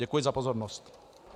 Děkuji za pozornost.